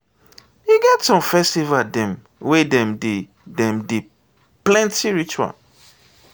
e get some festival dem wey dem dey dem dey plenty rituals.